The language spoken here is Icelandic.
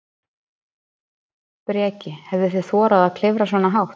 Breki: Hefðuð þið þorað að klifra svona hátt?